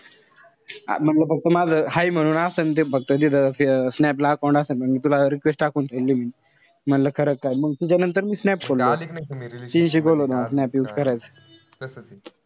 म्हणलं फक्त माझं हाय म्हणून असंन ते फक्त तिथं snap ला account असेल. मंग मी तुला request टाकून ठेवीन. म्हणलं खरंच काय. मंग तुझ्यानंतर मी snap सोडलं. तिने शिकवलं होत मला snap use करायचं.